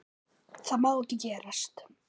Það má ekki gerast.